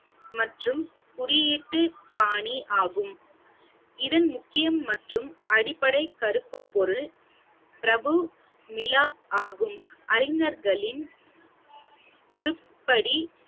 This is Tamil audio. மற்றும் குறியீட்டு பாணி ஆகும் இதன் முக்கியம் மற்றும் அடிப்படை கருப்பு பொருள் பிரபு நிலா ஆகும் அறிஞர்களின் உருப்படி